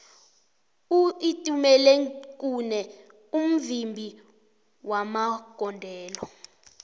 uitumelengkhune mvimbi magondelo